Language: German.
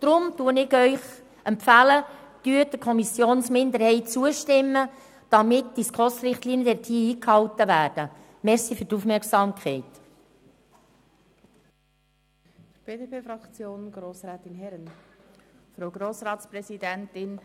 Deshalb empfehle ich Ihnen: Stimmen Sie der Kommissionsminderheit zu, damit die SKOS-Richtlinien hier eingehalten werden.